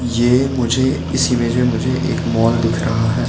ये मुझे इस इमेज़ में मुझे एक मॉल दिख रहा है।